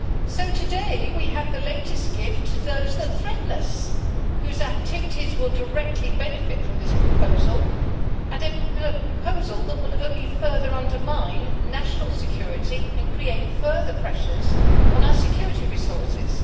So today we have the latest gift to those that threaten us, whose activities will directly benefit from this proposal, and a proposal that will only further undermine national security and create further pressures on our security resources.